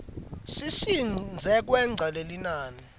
sisidze kwengca lelinani